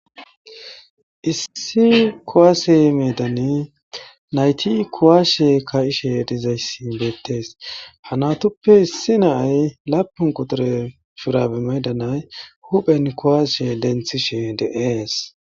issi kowaase medane nayti kowaashe ka7ishe dizayssin beettees hanatuppe issi naay lapun qotore firabe maydanay huphen kowaashe denthishe de7ees